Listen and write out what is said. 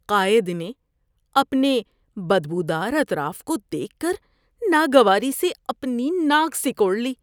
قائد نے اپنے بدبودار اطراف کو دیکھ کر ناگواری سے اپنی ناک سکوڑ لی۔